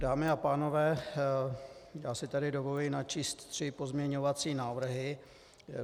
Dámy a pánové, já si tady dovoluji načíst tři pozměňovací návrhy.